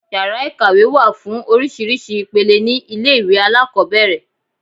Yàrá ìkàwé wà fún oríṣiríṣi ìpele ní ilé ìwé alákọ̀ọ́bẹ̀rẹ̀.